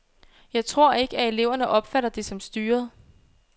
Jeg tror ikke, at eleverne opfatter det som styret.